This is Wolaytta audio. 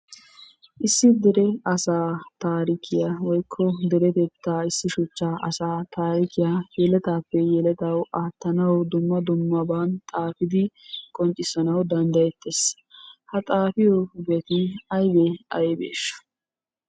Issi dere asa taarikkiya woykko deretetta issi shuchcha asaa taarikiya yeletappe yeletaw aattanaw dumma dummaban xaafidi qonccissanaw danddayeettes. Ha xaafiyobati aybbe aybbeshsha?